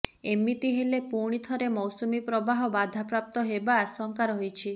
ଏମିତି ହେଲେ ପୁଣି ଥରେ ମୌସୁମୀ ପ୍ରବାହ ବାଧାପ୍ରାପ୍ତ ହେବା ଆଶଙ୍କା ରହିଛି